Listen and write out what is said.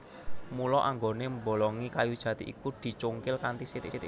Mula anggonè mbolongi kayu jati iku dicungkil kanthi sithik sithik